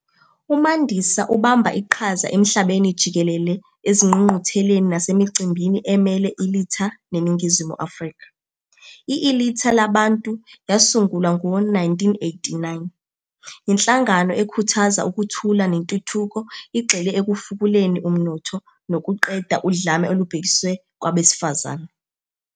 UMandisa ubamba iqhaza emhlabeni jikelele ezingqungqutheleni nasemicimbini emele i-Ilitha neNingizimu Afrika. I-Ilitha Labantu yasungulwa ngo-1989. Yinhlangano ekhuthaza ukuthula nentuthuko igxile ekufukuleni umnotho, nokuqeda udlame olubhekiswe kwabesifazane.